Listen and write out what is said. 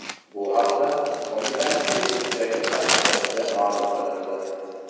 Bu haqda qo‘mitaning Facebook’dagi sahifasida ma’lum qilindi .